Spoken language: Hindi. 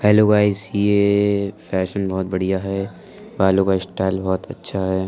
हैलो गायज ये फैशन बोहत बढ़िया है बालो को स्टाइल बोहत अच्छा है ।